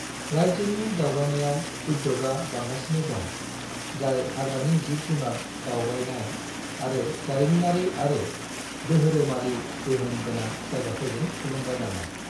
राज्योनि दावबायनाय उद्योगआ बांगासिनो दं, जाय हाग्रानि जिब-जुनार दावबायनाय आरो जारिमिनारि आरो दोहोरोमारि गोहोम गोनां जायगाफोरजों थुलुंगाजानाय।